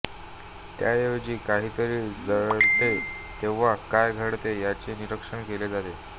त्याऐवजी काहीतरी जळते तेव्हा काय घडते याचे निरीक्षण केले जाते